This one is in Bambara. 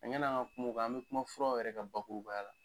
Ɲan'an ŋa kum'o kan an bɛ kuma furaw yɛrɛ ka bakurubaya la.